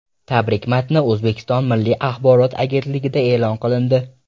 Tabrik matni O‘zbekiston Milliy axborot agentligida e’lon qilindi .